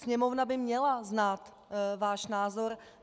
Sněmovna by měla znát váš názor.